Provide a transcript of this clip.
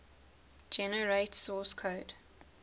generate source code